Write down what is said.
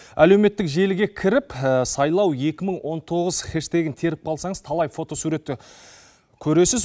әлеуметтік желіге кіріп сайлау екі мың он тоғыз хэштегін теріп қалсаңыз талай фотосуретті көресіз